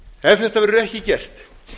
ef þetta verður ekki gert